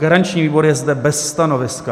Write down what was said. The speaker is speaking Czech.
Garanční výbor je zde bez stanoviska.